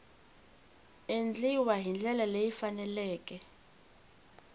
endliwa hi ndlela leyi faneleke